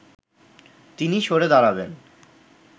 তিনি সরে দাঁড়াবেন